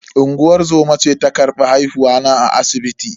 Unguwar zoma ce ta karbi haihuwa na a asibiti.